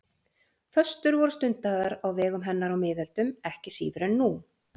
föstur voru stundaðar á vegum hennar á miðöldum ekki síður en nú